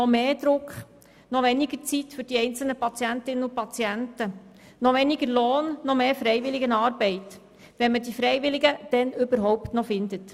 Noch mehr Druck, noch weniger Zeit für die einzelnen Patientinnen und Patienten, noch weniger Lohn, noch mehr Freiwilligenarbeit, wenn man die Freiwilligen dann überhaupt noch findet.